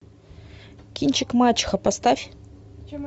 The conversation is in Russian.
кинчик мачеха поставь